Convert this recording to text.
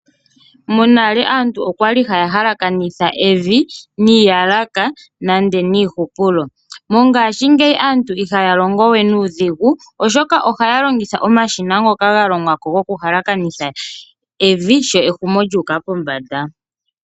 Monale aantu oya li haya halakanitha evi niiyalaka nenge niihupulo. Mongashingeyi aantu ihaya longo we nuudhigu, oshoka ohaya longitha omashina ngoka ga longwa ko gokuhalakanitha evi sho ehumokomeho lyu uka pombanda.